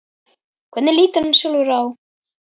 Hvernig lítur hann sjálfur á?